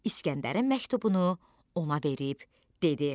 İskəndərin məktubunu ona verib dedi: